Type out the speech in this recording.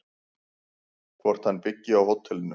Hvort hann byggi á hótelinu?